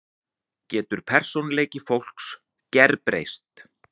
Getur persónuleiki fólks gerbreyst?